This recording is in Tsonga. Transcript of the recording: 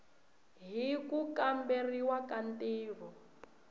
hi ku kamberiwa ka ntirho